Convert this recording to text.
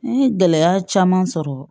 N ye gɛlɛya caman sɔrɔ